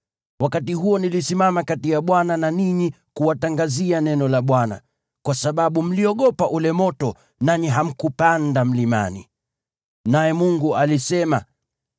(Wakati huo nilisimama kati ya Bwana na ninyi kuwatangazia neno la Bwana , kwa sababu mliogopa ule moto, nanyi hamkupanda mlimani.) Naye Mungu alisema: